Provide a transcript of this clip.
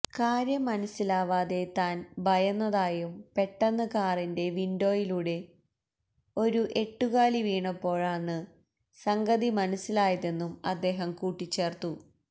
കാര്യം മനസ്സിലാവാതെ താന് ഭയന്നതായും പെട്ടെന്ന് കാറിന്റെ വിന്ഡോയിലൂടെ ഒരു എട്ടുകാലി വീണപ്പോഴാണ് സംഗതി മനസ്സിലായതെന്നും അദ്ദേഹം കൂട്ടിച്ചേര്ത്തു